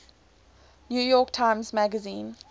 york times magazine